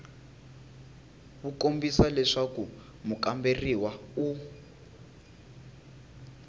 wu kombisa leswaku mukamberiwa u